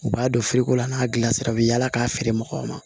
U b'a don feere ko la an k'a dilan sira bɛ yaala k'a feere mɔgɔw ma